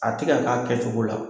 A ti ka ka kɛcogo la.